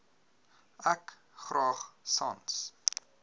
ek graag sans